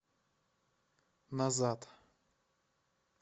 назад